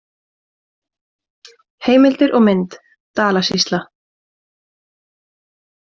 Heimildir og mynd: Dalasýsla.